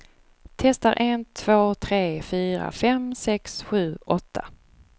Testar en två tre fyra fem sex sju åtta.